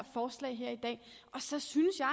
forslag her i dag så synes jeg